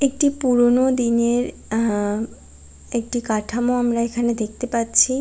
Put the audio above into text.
একটি পুরোনোদিনের আ-আ একটি কাঠামো আমরা এখানে দেখতে পাচ্ছি।